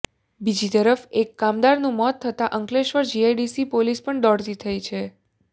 બીજી તરફ એક કામદારનું મોત થતાં અંકલેશ્વર જીઆઇડીસી પોલીસ પણ દોડતી થઇ છે